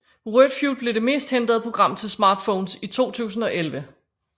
Wordfeud blev det mest hentede program til Smartphones i 2011